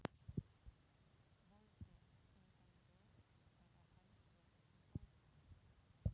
Bolti í hendi eða hendi í bolta?